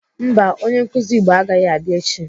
Mba, onye nkụzi Igbo agaghị abịa echi.